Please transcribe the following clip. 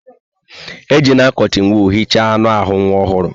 Ejila kọtịn wọọl hicha anụ ahụ nwa ọhụrụ.